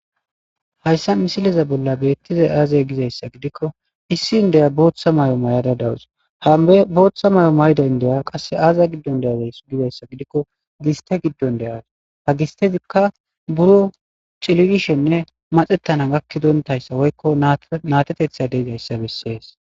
hayssa misileza bolla beettizay aazey gizayssa gidikko issi n deya booththa may7o mayada dawus hambe booththa mayo mayda indeya qasse aaza giddon deaweys gibayssa gidikko giste giddon de7as ha gistezikka buro cilirishenne maxettana gakkidontayssa woykko natetetha deezayssa bessees